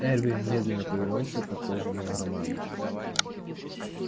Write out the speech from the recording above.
эрби медленно повернулся к отложенному роману